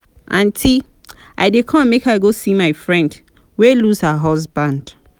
aunty i dey come make i go go see my friend wey lose her husband